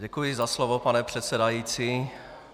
Děkuji za slovo, pane předsedající.